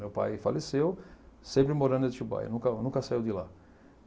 Meu pai faleceu, sempre morando em Atibaia, nunca nunca saiu de lá.